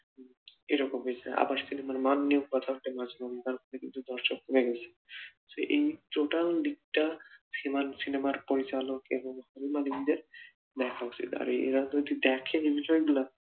এইরকম হইছে দর্শক কমে গেছে এই total দিকটা সিনেমার পরিচালক এবং সিনেমা দেখা উচিত আর এরা যদি দেখে বিষয়গুলা